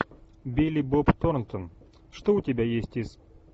билли боб торнтон что у тебя есть из